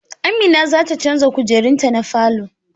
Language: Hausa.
Amin zata canza kujerun ta na falo